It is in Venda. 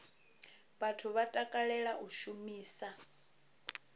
vhathu vha takalela u shumisa